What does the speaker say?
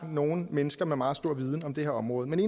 nogle mennesker med meget stor viden på det her område men